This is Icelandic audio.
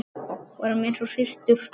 Vorum eins og systur.